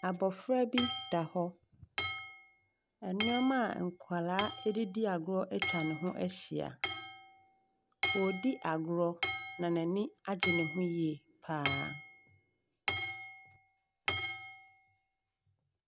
Abɔfra bi da hɔ. Nneɛma a nkwadaa de di agorɔ atwa ne ho ahyia. Ↄredi agorɔ na n’ani agye ne ho yie pa ara.